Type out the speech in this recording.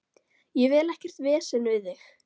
Ég vil ekkert vesen við þig.